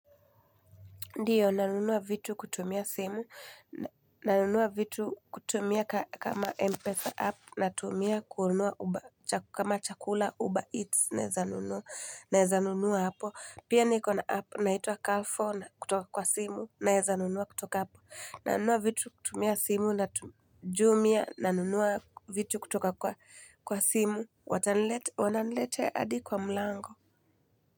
Ndio, nanunua vitu kutumia simu, nanunua vitu kutumia kama M-Pesa app, natumia kama chakula Uber Eats, naeza nunua hapo. Pia nikona app, inaitwa Carrefour kutoka kwa simu, naeza nunua kutoka hapo. Nanunua vitu kutumia simu, na jumia, nanunua vitu kutoka kwa simu. Wananletea hadi kwa mlango.